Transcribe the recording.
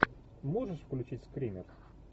можешь включить скример